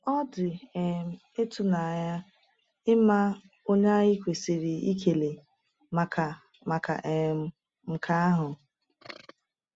Ọ dị um ịtụnanya ịma onye anyị kwesịrị ịkele maka maka um nke ahụ.